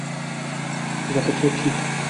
закачай псих